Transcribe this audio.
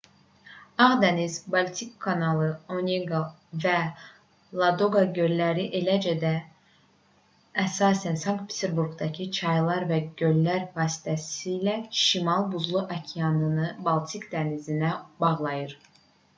ağ dəniz baltik kanalı oneqa və ladoqa göllləri eləcə də əsasən sankt-peterburqdakı çaylar və göllər vasitəsilə şimal buzlu okeanını baltik dənizinə bağlayır